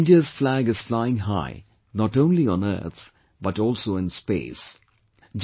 Today, India's flag is flying high not only on earth but also in space